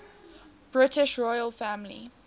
british royal family